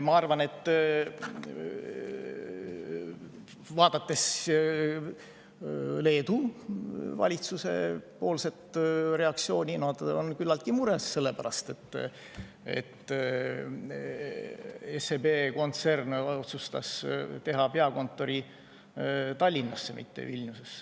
Ma arvan, vaadates Leedu valitsuse reaktsiooni, et nad on küllaltki mures selle pärast, et SEB kontsern otsustas teha peakontori Tallinnasse, mitte Vilniusesse.